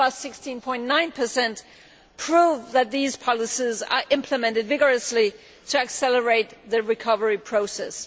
16.9, prove that these policies are implemented vigorously to accelerate the recovery process.